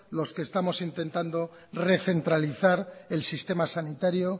los que estamos intentado recentralizar el sistema sanitario